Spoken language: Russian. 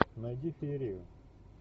найди феерию